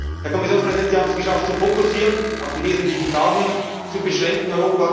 Kommission. Herr Kommissionspräsident, Sie haben es geschafft zu fokussieren, Europa auf die wesentlichen Fragen zu